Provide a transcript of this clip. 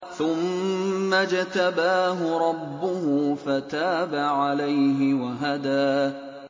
ثُمَّ اجْتَبَاهُ رَبُّهُ فَتَابَ عَلَيْهِ وَهَدَىٰ